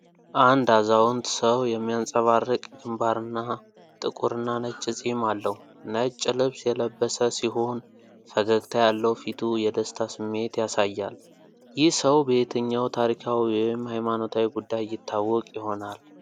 አንድ አዛውንት ሰው የሚያብረቀርቅ ግንባርና ጥቁርና ነጭ ጺም አለው። ነጭ ልብስ የለበሰ ሲሆን ፈገግታ ያለው ፊቱ የደስታ ስሜት ያሳያል። ይህ ሰው በየትኛው ታሪካዊ ወይም ሃይማኖታዊ ጉዳይ ይታወቅ ይሆናል?